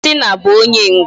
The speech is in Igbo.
John Cena bụ onye mgba